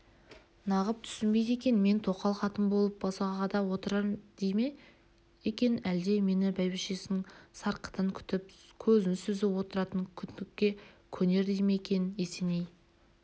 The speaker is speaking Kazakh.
нағып түсінбейді екен мен тоқал қатын болып босағада отырар дей ме екен әлде мені бәйбішесінің сарқытын күтіп көзін сүзіп отыратын күңдікке көнер дей ме екен есеней